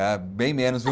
É, bem menos, viu?